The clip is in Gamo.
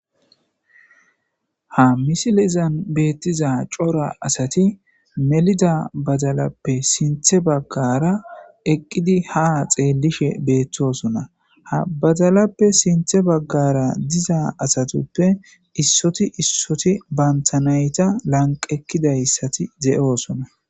ha misilizan beettiza cora asati melida bazalappe sinthe baggara eqqidi ha xeelishe beettosona ha bazalappe sinthe baggara diza asatuppe issoti issoti bantanayta lanqekkidayssati ze7oosona